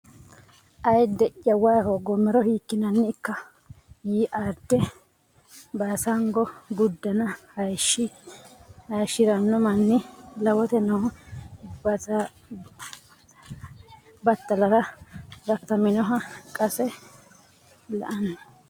Ayidde ya way hoogoommero hiikkinanni ikka yii Aadde Baasango uddanna hayishshi ranno manni lawote noo battalara rakkataminoha qase la anni !